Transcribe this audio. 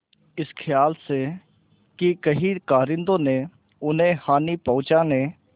इस खयाल से कि कहीं कारिंदों ने उन्हें हानि पहुँचाने